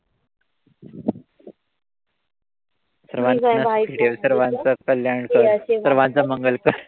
सर्वाना सर्वांचं कल्याण कर. सर्वांचं मंगल कर.